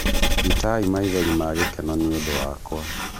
iitai maithori magĩkeno nĩũndũ wakwa